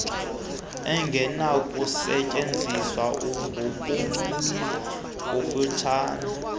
engenakusetyeziswa ngumguli kufaneleke